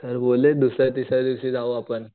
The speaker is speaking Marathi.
सर बोललेत दुसऱ्या तिसऱ्या दिवशी जाऊ आपण.